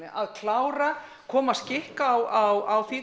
að klára koma skikki á